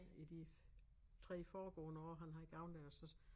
I de 3 foregående år han har gået der så